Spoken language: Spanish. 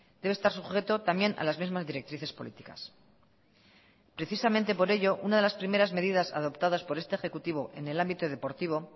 debe estar sujeto también a las mismas directrices políticas precisamente por ello una de las primeras medidas adoptadas por este ejecutivo en el ámbito deportivo